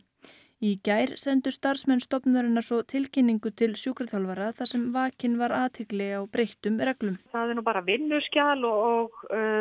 í gær sendu starfsmenn stofnunarinnar svo tilkynningu til sjúkraþjálfara þar sem vakin var athygli á breyttum reglum það er nú bara vinnuskjal og